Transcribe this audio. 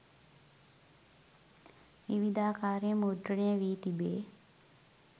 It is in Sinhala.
විවිධාකාරයෙන් මුද්‍රණය වී තිබේ.